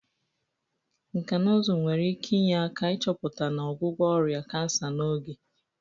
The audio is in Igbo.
Nkà na ụzụ nwere ike inye aka ịchọpụta na ọgwụgwọ ọrịa kansa n'oge.